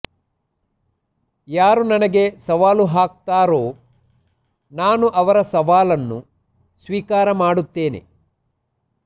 ಯಾರು ನನಗೆ ಸವಾಲು ಹಾಕ್ತಾರೋ ನಾನು ಅವರ ಸವಾಲನ್ನು ಸ್ವೀಕಾರ ಮಾಡ್ತೇನೆ